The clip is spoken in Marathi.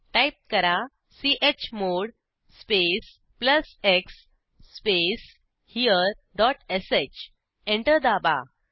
टाईप करा chmod space plus x space here dot sh enter दाबा